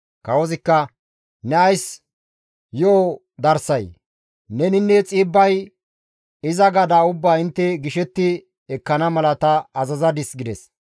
Kawozikka, «Ne ays yo7o darsay? Neninne Xiibbay iza gadaa ubbaa intte gishetti ekkana mala ta azazadis» gides.